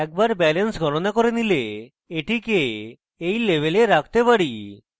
একবার balance গনণা করে নিলে এটিকে এই label রাখতে পারি